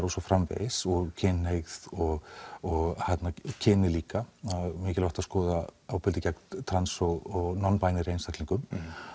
og svo framvegis kynhneigð og og kyni líka mikilvægt að skoða ofbeldi gegn trans og non binary einstaklingum